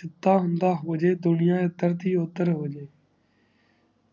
ਜਿਡਾ ਹੁੰਦਾ ਹੋ ਜੇ ਦੁਨਿਆ ਇਦਰ ਦੀ ਓਦਰ ਹੋ ਜੇ